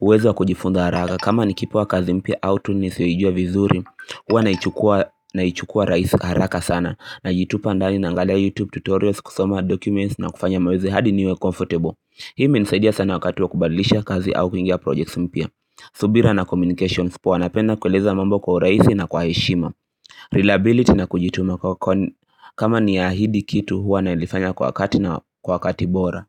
uwezo wa kujifunza haraka kama nikipewa kazi mpya au tunisiyoijua vizuri huwa naichukua naichukuwa rahisi haraka sana najitupa ndani naangalia youtube tutorials kusoma documents na kufanya maweze hadi niwe comfortable Hii imenisaidia sana wakati wa kubadilisha kazi au kuingia projects mpya subira na communications poa. Napenda kueleza mambo kwa urahisi na kwa heshima Reliability na kujituma kama ni ahidi kitu huwa nalifanya kwa wakati na kwa wakati bora.